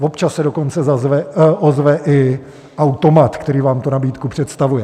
Občas se dokonce ozve i automat, který vám tu nabídku představuje.